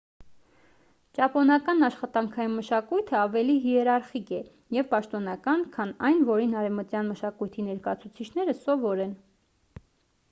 ճապոնական աշխատանքային մշակույթը ավելի հիերարխիկ է և պաշտոնական քան այն որին արևմտյան մշակույթի ներկայացուցիչները սովոր են